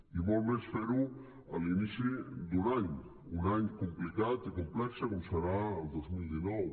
i molt més fer ho a l’inici d’un any un any complicat i complex com serà el dos mil dinou